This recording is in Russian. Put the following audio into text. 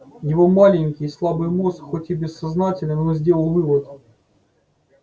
его маленький слабый мозг хоть и бессознательно но сделал вывод